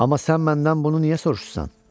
Amma sən məndən bunu niyə soruşursan?